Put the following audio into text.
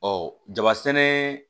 Ɔ jaba sɛnɛ